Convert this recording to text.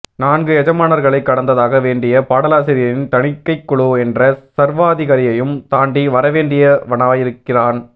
நான்கு எஜமானர்களைக் கடந்தாக வேண்டிய பாடலாசிரியன் தணிக்கைக்குழு என்ற சர்வாதிகாரியையும் தாண்டி வரவேண்டியவனாயிருக்கிறான்